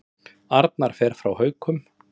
Arnar fer frá Haukum